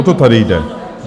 O to tady jde?